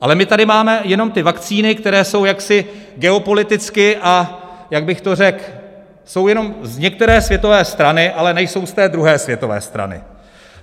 Ale my tady máme jenom ty vakcíny, které jsou jaksi geopoliticky, a jak bych to řekl, jsou jenom z některé světové strany, ale nejsou z té druhé světové strany.